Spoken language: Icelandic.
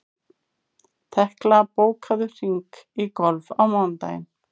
Tekla, bókaðu hring í golf á mánudaginn.